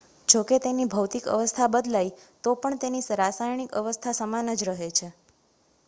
જોકે તેની ભૌતિક અવસ્થા બદલાય તો પણ તેની રાસાયણિક અવસ્થા સમાન જ રહે છે